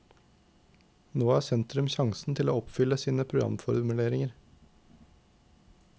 Nå har sentrum sjansen til å oppfylle sine programformuleringer.